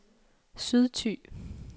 Sydthy